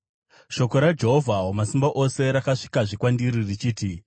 Shoko raJehovha Wamasimba Ose rakasvikazve kwandiri richiti: